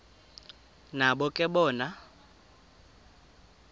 nabo ke bona